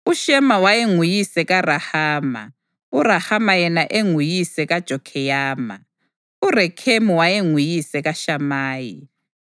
UShema wayenguyise kaRahama, uRahama yena enguyise kaJokheyama. URekhemu wayenguyise kaShamayi.